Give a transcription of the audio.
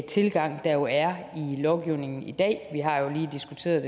tilgang der jo er i lovgivningen i dag vi har jo lige diskuteret